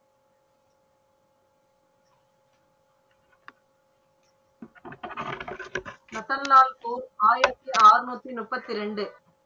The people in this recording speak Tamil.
மசர்லால் போர் ஆயிரத்தி ஆறநூற்றி முப்பத்தி இரண்டு.